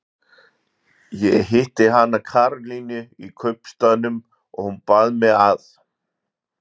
Ég hitti hana Karolínu í kaupstaðnum og hún bað mig að.